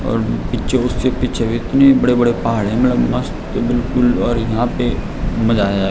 और पिच्छे उसके पिच्छे भी इतने बड़े बड़े पहाड़ है मलब मस्त बिलकुल और यहाँ पे मजा आयाँ।